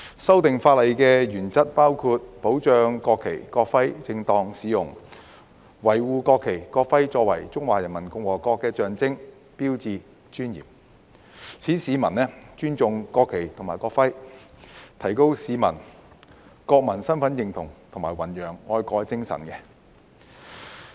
修訂法例的原則包括保障國旗及國徽的正當使用，維護國旗及國徽作為中華人民共和國的象徵和標誌的尊嚴，使市民尊重國旗及國徽，提高市民的國民身份認同感和弘揚愛國精神。